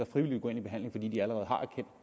frivilligt i behandling fordi de allerede har erkendt